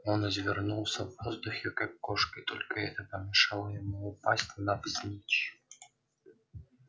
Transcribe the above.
он извернулся в воздухе как кошка и только это помешало ему упасть навзничь